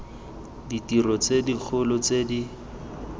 ditiro tse dikgolo tse di